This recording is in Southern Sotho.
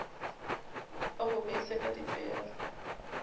wa ho beisa ka dipere